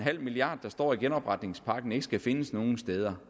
milliard kr der står i genopretningspakken ikke skal findes nogen steder